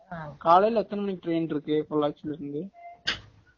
காலைல எத்தன மணிக்கு train இருக்கு பொள்ளாச்சில இருந்து